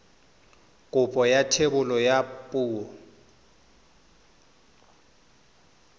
kopo ya thebolo ya poo